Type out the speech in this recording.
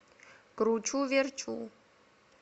кручуверчу